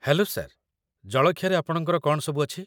Hello sir, ଜଳଖିଆରେ ଆପଣଙ୍କର କ'ଣ ସବୁ ଅଛି?